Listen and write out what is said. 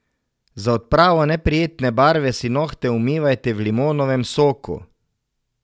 Za odpravo neprijetne barve si nohte umivajte v limonovem soku.